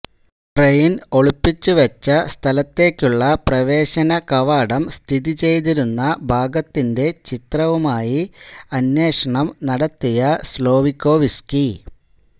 train ഒളിപ്പിച്ചു വെച്ച സ്ഥലത്തേക്കുള്ള പ്രവേശന കവാടം സ്ഥിതി ചെയ്തിരുന്ന ഭാഗത്തിന്റെ ചിത്രവുമായി അന്വേഷണം നടത്തിയ സ്ലോവികോവ്സ്കി